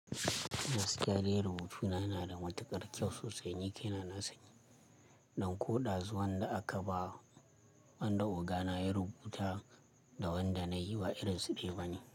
Gaskiya dai rubutu na nada matuƙar kyau sosai, ni kai na nasani. Don ko ɗazu wanda aka ba wanda ogana ya rubuta da wanda na yi ba irin su ɗaya ba ne.